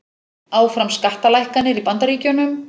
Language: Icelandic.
Áfram skattalækkanir í Bandaríkjunum